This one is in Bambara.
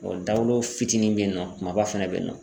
dagolo fitinin be yen nɔ kumaba fɛnɛ be yen nɔ.